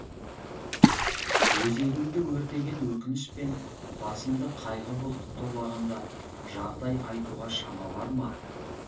өзегімді өртеген өкініш пен басымды қайғы бұлты торлағанда жағдай айтуға шама бар ма